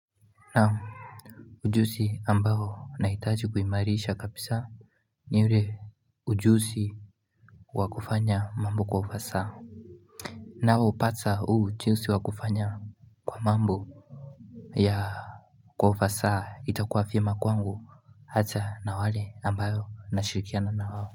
Na ujuzi ambayo nahitaji kuhimarisha kabisa Niule ujuzi wakufanya mambo kwa ufasaha na upata ujuzi wakufanya kwa mambo ya kwa ufasaha itakuwa vyema kwangu hata na wale ambao nashirikiana na wawo.